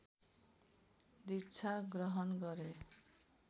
दीक्षा ग्रहण गरे